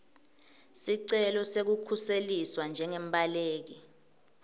sicelo sekukhuseliswa njengembaleki